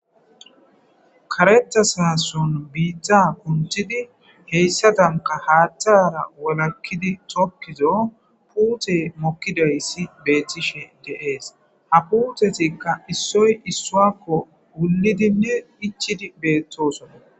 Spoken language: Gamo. Karetha sason bitta kunthid hesadanka tokido putey mokidaysa betishe de'es, ha putezika issoy isawako wulidinne ichid betosona.